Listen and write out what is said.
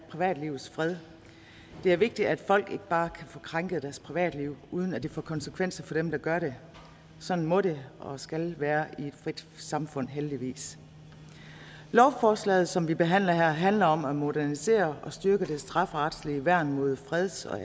privatlivets fred det er vigtigt at folk ikke bare kan få krænket deres privatliv uden at det får konsekvenser for dem der gør det sådan må det og skal det være i et frit samfund heldigvis lovforslaget som vi behandler her handler om at modernisere og styrke det strafferetlige værn mod freds og